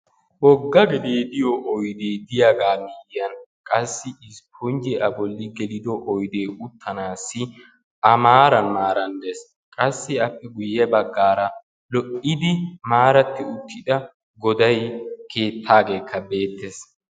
Wogga gedee diyaa oydee diyagaa miyyiyan qassi isiponjje A bolli gelido oydee uttanaassi A maaran maaran dees. Qassi appe guyye baggaara lo'iddi maaratti uttida goday keettaageekka beettees.